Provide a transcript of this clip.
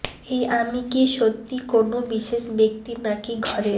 এই আমি কি সত্যি কোনও বিশেষ ব্যক্তি নাকি ঘরের